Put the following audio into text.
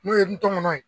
N'o ye n tɔmɔnɔ